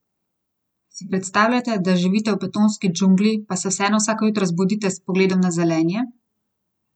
Že ob nastanku so ji odvzeli večjo moč, s smešno razlago, da bi bila dodelitev preiskovalnih, torej policijskih pooblastil smiselna le v deželah z močno korupcijo!